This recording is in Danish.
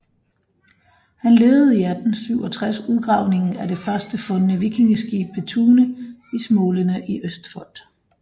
Han ledede 1867 udgravningen af det først fundne vikingeskib ved Tune i Smålenene i Østfold